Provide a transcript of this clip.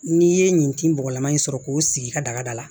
N'i ye nin tin bɔgɔlama in sɔrɔ k'o sigi i ka daga da la